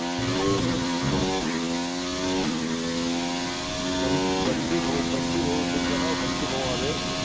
बन बंटी भाऊ बंटी भाऊ आहे न तुमच नाव बंटी भाऊ अबे